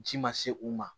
Ci ma se u ma